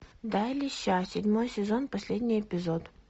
дай леща седьмой сезон последний эпизод